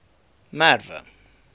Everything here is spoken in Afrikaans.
merwe